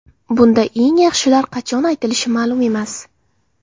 Bunda eng yaxshilar qachon aytilishi ma’lum emas.